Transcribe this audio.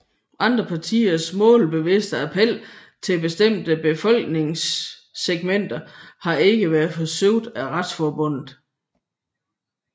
Andre partiers målbevidste appel til bestemte befolkningssegmenter har ikke været forsøgt af Retsforbundet